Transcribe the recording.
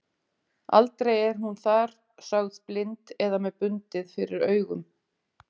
Aldrei er hún þar sögð blind eða með bundið fyrir augun.